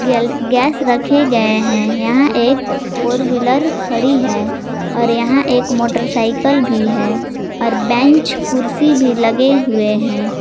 Gas रखे गए हैं यहां एक फोर व्हीलर खड़ी है और यहां एक मोटरसाइकिल भी है और बेंच कुर्सी भी लगे हुए हैं।